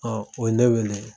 o ye ne weele.